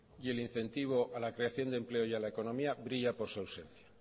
y el incentivo a la creación de empleo y a la economía brilla por su ausencia